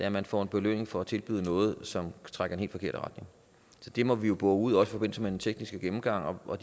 at man får en belønning for at tilbyde noget som trækker i forkerte retning det må vi jo bore ud ud i forbindelse med den tekniske gennemgang og